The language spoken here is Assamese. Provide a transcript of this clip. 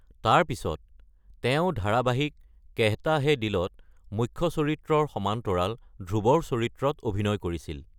তাৰ পিছত, তেওঁ ধাৰাবাহিক কেহতা হে দিলত মুখ্য চৰিত্ৰৰ সমান্তৰাল ধ্ৰুৱৰ চৰিত্ৰত অভিনয় কৰিছিল।